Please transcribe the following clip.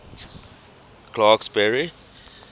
clarksburry